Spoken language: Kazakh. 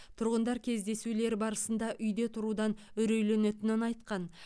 тұрғындар кездесулер барысында үйде тұрудан үрейленетінін айтқан